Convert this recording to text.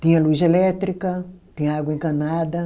Tinha luz elétrica, tinha água encanada.